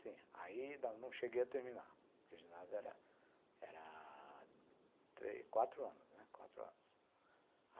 Sim, aí não cheguei a terminar, porque o ginásio era era quatro anos, né.